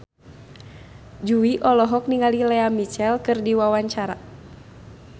Jui olohok ningali Lea Michele keur diwawancara